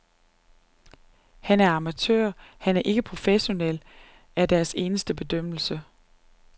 Han er amatør, han er ikke professionel, er deres eneste bedømmelse.